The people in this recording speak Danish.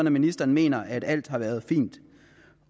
at ministeren mener at alt har været fint